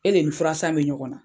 E de ni furasan bɛ ɲɔgɔnna.